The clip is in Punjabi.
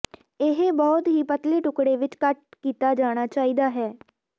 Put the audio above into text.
ਇਹ ਬਹੁਤ ਹੀ ਪਤਲੇ ਟੁਕੜੇ ਵਿੱਚ ਕੱਟ ਕੀਤਾ ਜਾਣਾ ਚਾਹੀਦਾ ਹੈ